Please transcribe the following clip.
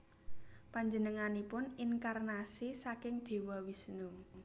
Panjenenganipun inkarnasi saking Dewa Wisnu